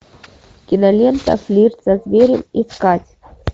кинолента флирт со зверем искать